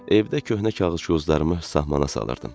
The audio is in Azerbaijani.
Evdə köhnə kağız-qozlarımı sahmana salırdım.